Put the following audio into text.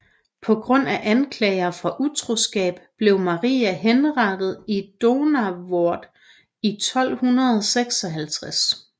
På grund af anklager for utroskab blev Maria henrettet i Donauwörth i 1256